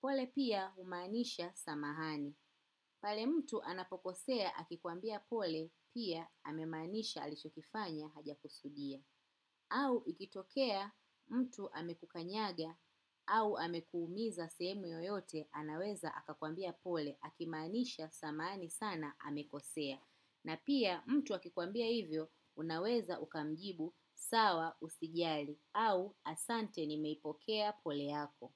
Pole pia humaanisha samahani. Pale mtu anapokosea akikuambia pole pia amemaanisha alichokifanya haja kusudia. Au ikitokea mtu amekukanyaga au amekuumiza sehemu yoyote anaweza akakwambia pole akimaanisha samahani sana amekosea. Na pia mtu akikuambia hivyo unaweza ukamjibu sawa usijali au asante ni meipokea pole yako.